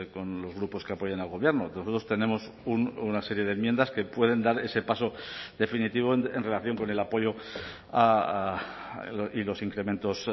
con los grupos que apoyan al gobierno nosotros tenemos una serie de enmiendas que pueden dar ese paso definitivo en relación con el apoyo y los incrementos